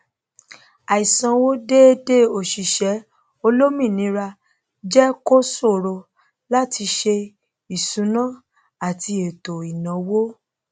àìsanwó déedé òṣìṣẹ olómìnira jẹ kó ṣòro láti sé ìṣúná ati ètò ìnáwó